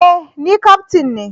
E! Ni kaftin ne